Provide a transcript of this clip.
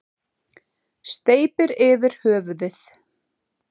Steypir yfir höfuðið.